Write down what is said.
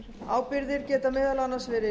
ábyrgðir geta meðal annars verið